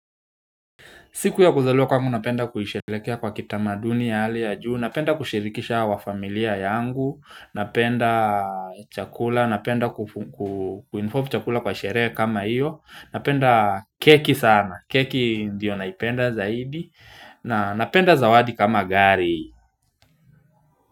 Siku ya kuzaliwa kwangu, napenda kuisherekea kwa kitamaduni ya hali ya juu, napenda kushirikisha wa familia yangu, napenda chakula, napenda ku involve chakula kwa sherehe kama hiyo, napenda keki sana, keki ndiyo naipenda zaidi, na napenda zawadi kama gari.